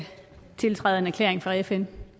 tiltræde en erklæring fra fn